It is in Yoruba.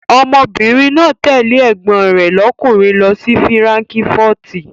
Ọmọbìnrin náà tẹ̀lé ẹ̀gbọ́n rẹ̀ lọ́kùnrin lọ sí fíránkífọ́tì.